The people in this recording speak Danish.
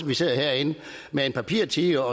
vi sidder herinde med en papirtiger og